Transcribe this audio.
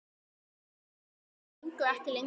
En sagnir gengu ekki lengra.